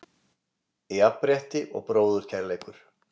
Jafnrétti og bróðurkærleikur.